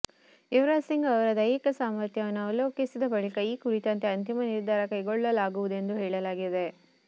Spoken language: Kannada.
ಯುವರಾಜ್ ಸಿಂಗ್ ಅವರ ದೈಹಿಕ ಸಾಮರ್ಥ್ಯವನ್ನು ಅವಲೋಕಿಸಿದ ಬಳಿಕ ಈ ಕುರಿತಂತೆ ಅಂತಿಮ ನಿರ್ಧಾರ ಕೈಗೊಳ್ಳಲಾಗುವುದೆಂದು ಹೇಳಲಾಗಿದೆ